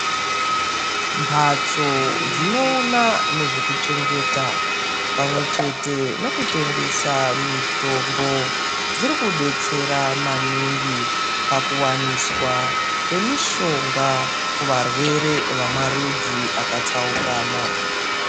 Mbatso dzinoona nezvekuchengeta pamwechete nkutengesa mitombo dzirikubetsera maningi pakuwaniswa kwemishonga kuvarwere vamarudzi akatsaukana .